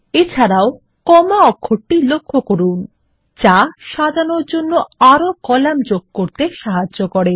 এছাড়াও কমা অক্ষরটি লক্ষ্য করুন যা সাজানোর জন্য আরও কলাম যোগ করতে সাহায্য করে